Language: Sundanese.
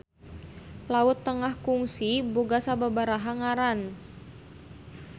Laut Tengah kungsi boga sababaraha ngaran.